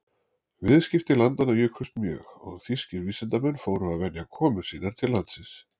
Viðskipti landanna jukust mjög og þýskir vísindamenn fóru að venja komur sínar til landsins.